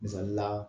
Misali la